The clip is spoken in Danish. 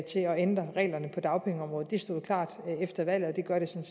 ændre reglerne på dagpengeområdet det stod klart efter valget og det gør det